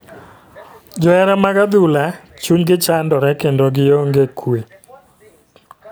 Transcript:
Johera mag adhula chuny gi chandore kendo gi ong'e kue.